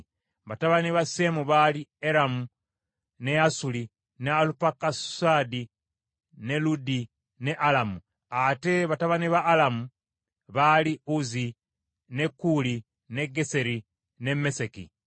Batabani ba Seemu baali: Eramu, ne Asuli, ne Alupakusaadi, ne Ludi ne Alamu. Ate batabani ba Alamu baali: Uzi, ne Kuuli, ne Geseri, ne Meseki.